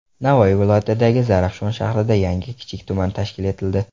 Navoiy viloyatidagi Zarafshon shahrida yangi kichik tuman tashkil etildi.